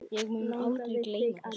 Ég mun aldrei gleyma þessu.